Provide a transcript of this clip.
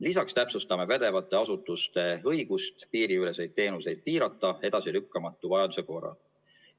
Lisaks täpsustame pädevate asutuste õigust piiriüleseid teenuseid piirata edasilükkamatu vajaduse korral.